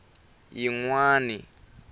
yingwani